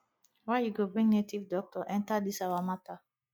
why you go bring native doctor enter dis our matter